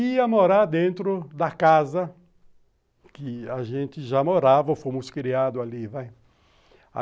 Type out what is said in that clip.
Ia morar dentro da casa que a gente já morava, fomos criados ali vai